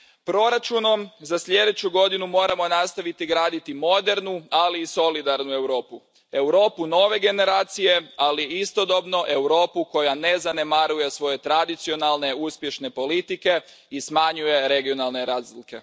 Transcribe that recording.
Proračunom za sljedeću godinu moramo nastaviti graditi modernu, ali i solidarnu Europu, Europu nove generacije, ali istodobno Europu koja ne zanemaruje svoje tradicionalne uspješne politike i smanjuje regionalne razlike.